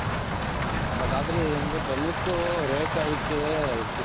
but ಆದ್ರೆ ಏನಂದ್ರೆ ಬೆಲ್ಲಕ್ಕು rate ಅವಕ್ಕೆ